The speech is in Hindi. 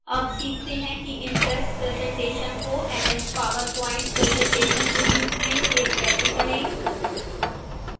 अब सीखते हैं कि impress presentation को ms powerpoint presentation के रूप में सेव कैसे करें